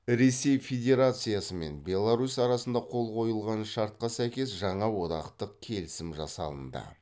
ресей федерациясымен беларусь арасында қол қойылған шартқа сәйкес жаңа одақтық келісім жасалынды